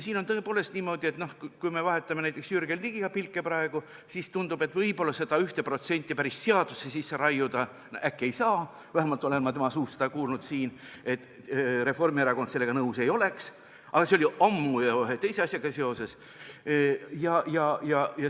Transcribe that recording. Siin on tõepoolest niimoodi, et kui me praegu vahetame näiteks Jürgen Ligiga pilke, siis tundub, et võib-olla seda 1% päris seadusse sisse raiuda ei saa – vähemalt olen ma tema suust kuulnud, et Reformierakond sellega nõus ei oleks, aga see oli ammu ja ühe teise asjaga seoses.